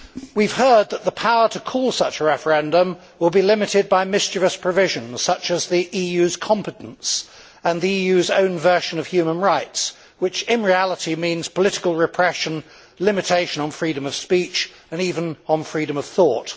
We have heard that the power to call such a referendum will be limited by mischievous provisions, such as the EU's competence and the EU's own version of human rights, which, in reality, means political repression, limitation on freedom of speech and even on freedom of thought.